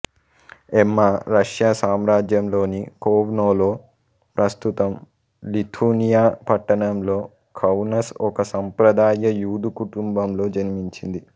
ఎమ్మా Russia సామ్రాజ్యంలోని కొవ్నోలో ప్రస్తుతం లిథూనియా పట్టణంలో కౌనస్ ఒక సంప్రదాయ యూదు కుటుంబంలో జన్మించింది